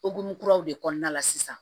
Okumu kuraw de kɔnɔna la sisan